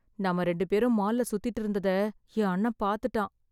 நாம ரெண்டு பேரும் மால்ல சுத்திட்டு இருந்ததை என் அண்ணன் பார்த்துட்டான்.